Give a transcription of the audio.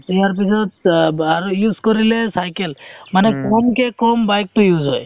ইয়াৰ পিছত আৰু use কৰিলে cycle মানে কমতো কম bike তো use হয়